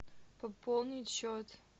пополнить счет